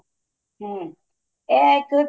ਹਮ ਇਹ ਇੱਕ